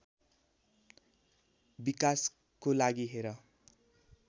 विकासको लागि हेर